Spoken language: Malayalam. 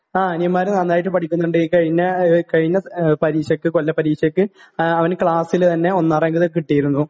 ങാ, അനിയന്മാര് നന്നായിട്ട് പഠിക്കുന്നുണ്ട്.ഈ കഴിഞ്ഞ..കഴിഞ്ഞ കൊല്ലപരീക്ഷയ്ക്ക് അവനു ക്ലാസിലെ തന്നെ ഒന്നാം റാങ്ക് കിട്ടിയിരുന്നു.